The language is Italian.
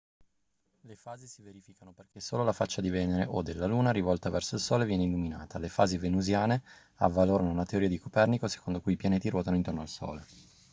le fasi si verificano perché solo la faccia di venere o della luna rivolta verso il sole viene illuminata. le fasi venusiane avvalorarono la teoria di copernico secondo cui i pianeti ruotano intorno al sole